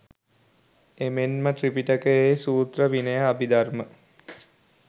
එමෙන්ම ත්‍රිපිටකයේ සූත්‍ර විනය අභිධර්ම